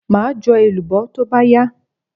Maa jo elubo to ba ya